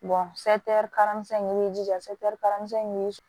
in i b'i jija kalansen in mi